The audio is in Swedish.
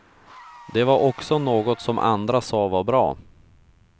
Det var också något som andra sa var bra.